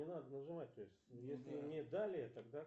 что заново опять